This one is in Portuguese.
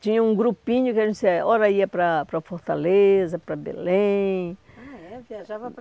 Tinha um grupinho que a gente ora ia para para Fortaleza, para Belém. Ah, é? Viajava para